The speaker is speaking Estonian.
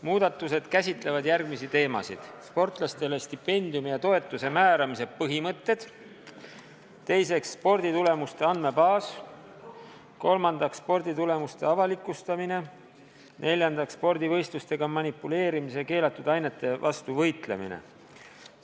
Muudatused käsitlevad järgmisi teemasid: esiteks, sportlastele stipendiumi ja toetuse määramise põhimõtted, teiseks, sporditulemuste andmebaas, kolmandaks, sporditulemuste avalikustamine, neljandaks, spordivõistlustega manipuleerimise ja keelatud ainete vastu võitlemine.